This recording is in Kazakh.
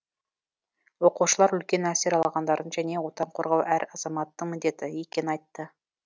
оқушылар үлкен әсер алғандарын және отан қорғау әр азаматтың міндеті екенін айтты